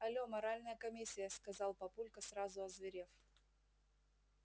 але моральная комиссия сказал папулька сразу озверев